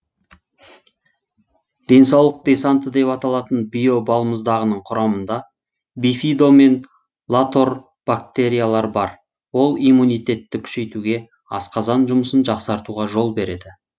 денсаулық десанты деп аталатын био балмұздағының құрамында бифидо мен латорбактериялар бар ол иммунитетті күшейтуге асқазан жұмысын жақсартуға жол береді